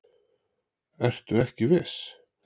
Ertu ekki viss?